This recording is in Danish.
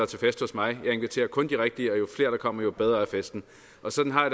til fest hos mig jeg inviterer kun de rigtige og jo flere der kommer jo bedre er festen og sådan har